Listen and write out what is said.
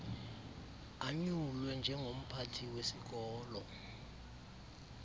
anyulwe njengomphathi wesikolo